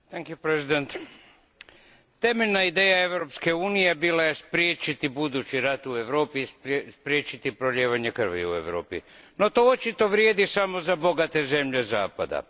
Gospođo predsjednice, temeljna ideja Europske unije bila je spriječiti budući rat u Europi, spriječiti prolijevanje krvi u Europi. No to očito vrijedi samo za bogate zemlje zapada.